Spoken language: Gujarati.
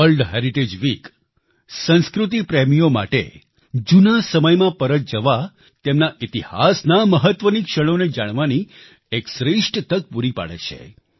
વર્લ્ડ હેરિટેજ વીક સંસ્કૃતિ પ્રેમીઓ માટે જૂના સમયમાં પરત જવા તેના ઈતિહાસના મહત્વની ક્ષણોને જાણવાનો એક શ્રેષ્છ તક પૂરી પાડે છે